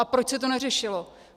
A proč se to neřešilo?